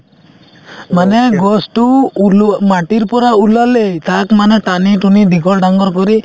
মানে গছটো ওলো মাটিৰ পৰা ওলালে তাক মানে টানি-টুনি দীঘল ডাঙৰ কৰি